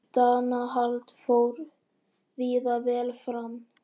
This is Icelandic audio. Skemmtanahald fór víða vel fram